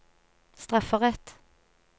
strafferett